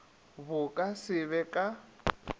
bo ka se be ka